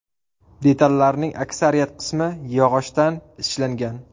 Detallarning aksariyat qismi yog‘ochdan ishlangan.